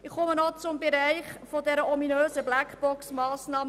Ich spreche noch zum Bereich der ominösen BlackboxMassnahme 44.7.7.